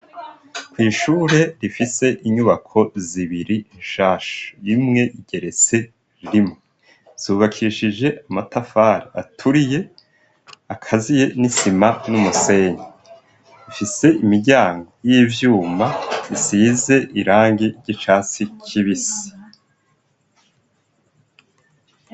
kw'ishure rifise inyubako zibiri nshasha. Imwe igeretse rimwe, zubakishije amatafari aturiye akaziye n'isima n'umusenyi. Ifise imiryango y'ivyuma isize irangi g'icatsi kibisi.